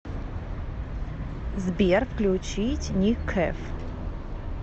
сбер включить ник кэв